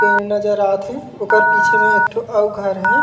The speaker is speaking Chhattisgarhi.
पेड़ नजर आथ हे ओकर पीछे में एक ठो अऊ घर हे।